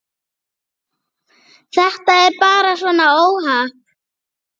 Þetta er bara svona óhapp.